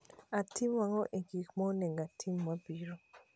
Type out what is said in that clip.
Atim ang'o e gik ma onego otim mabiro